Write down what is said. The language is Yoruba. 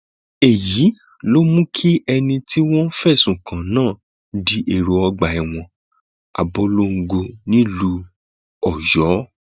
èyí ló mú kí ẹni tí wọn fẹsùn kàn náà di èrò ọgbà ẹwọn abọlongo nílùú ọyọ